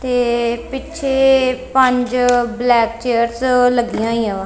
ਤੇ ਪਿੱਛੇ ਪੰਜ ਬਲੈਕ ਚੇਅਰਸ ਲੱਗੀਆਂ ਹੋਈਆਂ ਵਾ।